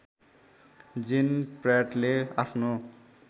जेन प्र्याटले आफ्नो